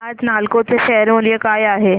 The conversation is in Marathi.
आज नालको चे शेअर मूल्य काय आहे